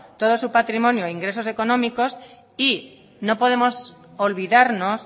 todo su patrimonio ingresos económicos no podemos olvidarnos